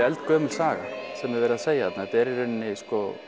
eldgömul saga sem er verið að segja þarna þetta er í rauninni